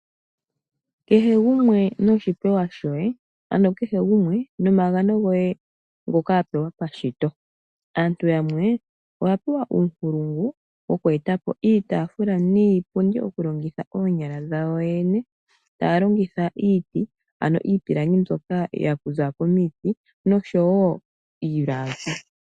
Kehe gumwe noshipewa shoye, ano kehe gumwe nomagano goye ngoka wa pewa pashitoaantu yamwe oya pewa uunkulungu woku eta po iitaafula niipundi okulongitha oonyala dhawo yoyene, taya longitha iiti, ano iipilangi mbyoka ya kuthwa komiti noshowo iilagi.